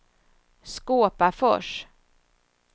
Skåpafors